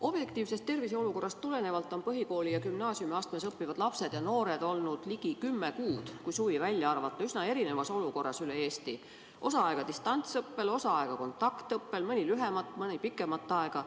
Objektiivsest terviseolukorrast tulenevalt on põhikoolis ja gümnaasiumiastmes õppivad lapsed ja noored olnud ligi kümme kuud, kui suvi välja arvata, üsna erinevas olukorras üle Eesti: osa aega distantsõppel, osa aega kontaktõppel, mõni lühemat, mõni pikemat aega.